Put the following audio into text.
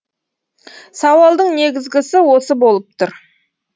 сауалдың негізгісі осы болып тұр